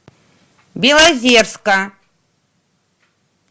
белозерска